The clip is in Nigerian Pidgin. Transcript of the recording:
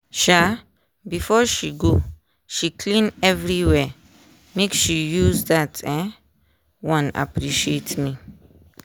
um before she go she clean everywhere make she use that um one appreciate me.